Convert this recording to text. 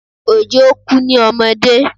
Òjó kú ní ọmọdé